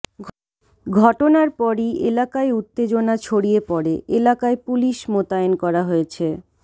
ঘটনার পরই এলাকায় উত্তেজনা ছডিয়ে পড়ে এলাকায় পুলিশ মোতায়েন করা হয়েছে